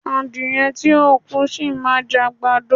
Adìẹ tí ò kú, sì máa jẹ àgbàdo.